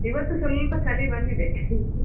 ಇವತ್ತು ಸ್ವಲ್ಪ ಚಳಿ ಬಂದಿದೆ .